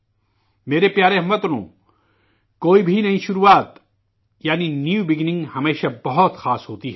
میرے پیارے ہم وطنوں، کوئی بھی نئی شروعات ہمیشہ بہت خاص ہوتی ہیں